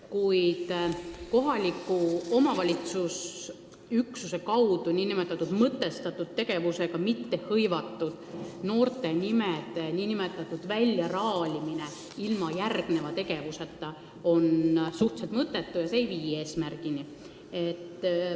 Kuid kohaliku omavalitsuse üksuse kaudu nn mõtestatud tegevusega mittehõivatud noorte inimeste väljaraalimine ilma järgneva tegevuseta on suhteliselt mõttetu, see ei vii eesmärgini.